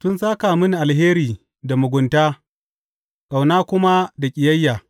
Sun sāka mini alheri da mugunta, ƙauna kuma da ƙiyayya.